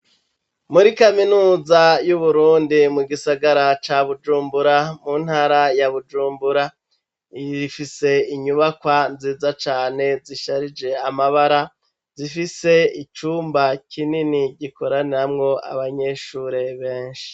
Muri kaminuza y'uburundi mu gisagara ca Bujumbura mu ntara ya Bujumbura rifise inyubakwa nziza cane zisharije amabara zifise icumba kinini gikoraniramwo abanyeshure beshi.